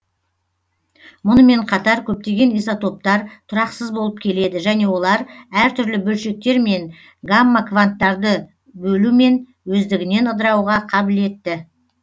мұнымен қатар көптеген изотоптар тұрақсыз болып келеді және олар әр түрлі бөлшектер мен гамма кванттарды бөлумен өздігінен ыдырауға кабілетті